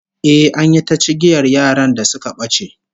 Eh, an yi ta cigiyar yaran da suka bace